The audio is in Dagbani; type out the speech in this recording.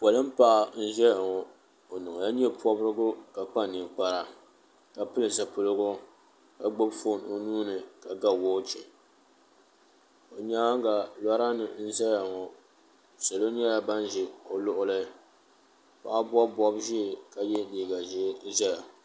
Polin'paɣa n ʒɛya ŋɔ n niŋla nyepobrigu ka kpa ninkpara ka pili zipiligu ka gbibi fooni o nua ni ka ga woochi o nyaanga lora nima n zaya ŋɔ salo nyɛla ban za o luɣuli paɣa bobi bob'ʒee ka ye liiga ʒee ʒɛya.